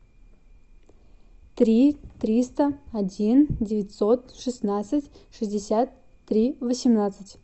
три триста один девятьсот шестнадцать шестьдесят три восемнадцать